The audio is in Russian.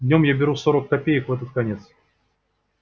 днём я беру сорок копеек в этот конец